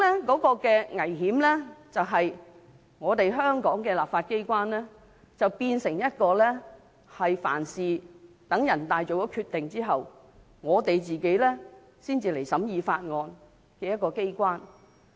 產生的危險是，香港的立法機關變成凡事需待人大常委會作出決定後，才審議法案的機關。